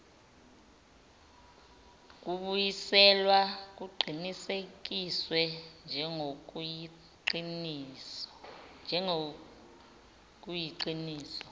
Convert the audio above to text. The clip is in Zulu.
kubuyiselwa kuqinisekiswe njengokuyiqiniso